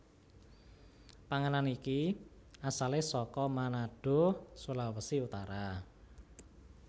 Panganan iki asale saka Manado Sulawesi Utara